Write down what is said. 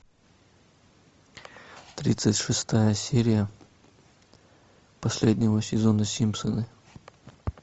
тридцать шестая серия последнего сезона симпсоны